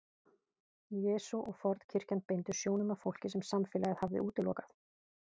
Jesús og fornkirkjan beindu sjónum að fólki sem samfélagið hafði útilokað.